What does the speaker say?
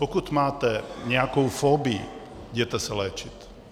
Pokud máte nějakou fobii, jděte se léčit.